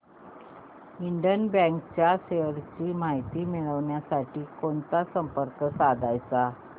Indian bank च्या shares ची माहिती मिळविण्यासाठी कोणाला संपर्क साधायचा